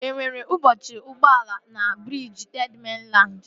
E nwere mkpọchi ụgbọala na briji Third Mainland?